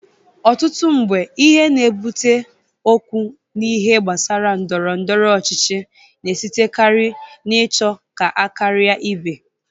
Ọtụtụ mgbe, ihe na-ebulite okwu n'ihe gbasara ndọrọndọrọ ọchịchị na-esitekari n'ịchọ ka a karia ibe.